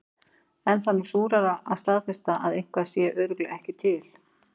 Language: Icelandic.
En það er snúnara að staðfesta að eitthvað sé örugglega ekki til.